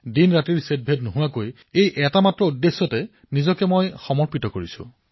দিনৰাতিৰ প্ৰভেদ নোহোৱাকৈ কেৱল এই লক্ষ্যতেই মই নিজকে সঁপি দিছো